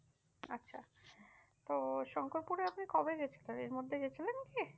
তো শঙ্করপুরে আপনি কবে গিয়েছিলেন? এর মধ্যে গিয়েছিলেন কি?